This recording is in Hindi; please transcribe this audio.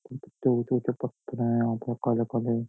बहुत ऊंचे-ऊंचे पत्थर है यहाँ पे काले-काले।